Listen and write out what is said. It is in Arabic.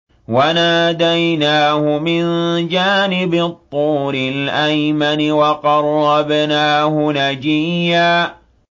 وَنَادَيْنَاهُ مِن جَانِبِ الطُّورِ الْأَيْمَنِ وَقَرَّبْنَاهُ نَجِيًّا